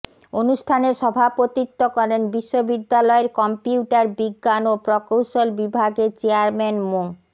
অনুষ্ঠানে সভাপতিত্ব করেন বিশ্ববিদ্যালয়ের কম্পিউটার বিজ্ঞান ও প্রকৌশল বিভাগের চেয়ারম্যান মো